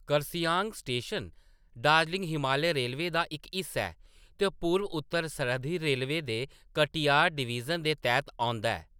Kurseong station Darjeeling Himalaya railway दा इक हिस्सा ऐ ते पूरब-उत्तर सरहद्दी रेलवे दे कटिहार डिवीजन दे तैह्‌त औंदा ऐ।